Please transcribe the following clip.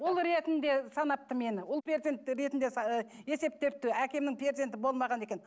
ұл ретінде санапты мені ұл перзент ретінде есептепті әкемнің перзенті болмаған екен